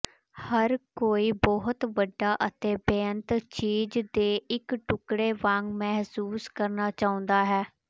ਹਰ ਕੋਈ ਬਹੁਤ ਵੱਡਾ ਅਤੇ ਬੇਅੰਤ ਚੀਜ਼ ਦੇ ਇੱਕ ਟੁਕੜੇ ਵਾਂਗ ਮਹਿਸੂਸ ਕਰਨਾ ਚਾਹੁੰਦਾ ਹੈ